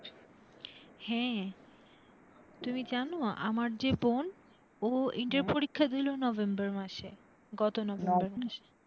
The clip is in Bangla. হ্যাঁ তুমি জানো? আমার যে বোন? ও পরীক্ষা দিল november মাসে গত